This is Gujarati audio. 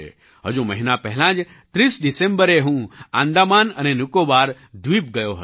હજુ મહિના પહેલાં જ 30 ડિસેમ્બરે હું આંદામાન અને નિકોબાર દ્વીપ ગયો હતો